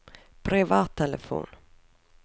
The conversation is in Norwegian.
privattelefon